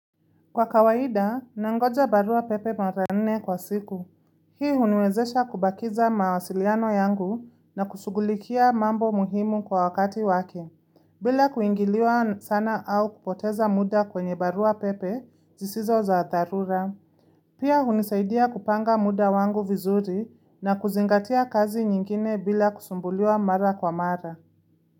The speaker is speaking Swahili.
Kwa kawaida, nangoja barua pepe mara nne kwa siku. Hii uniwezesha kubakiza mawasiliano yangu na kushughulikia mambo muhimu kwa wakati wake, bila kuingiliwa sana au kupoteza muda kwenye barua pepe zisizo za darura. Pia unisaidia kupanga muda wangu vizuri na kuzingatia kazi nyingine bila kusumbuliwa mara kwa mara.